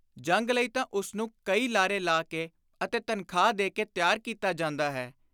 ਜੰਗ ਲਈ ਤਾਂ ਉਸਨੂੰ ਕਈ ਲਾਰੇ ਲਾ ਕੇ ਅਤੇ ਤਨਖ਼ਾਹ ਦੇ ਕੇ ਤਿਆਰ ਕੀਤਾ ਜਾਂਦਾ ਹੈ।